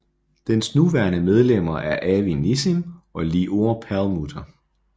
Dens nuværende medlemmer er Avi Nissim og Lior Perlmutter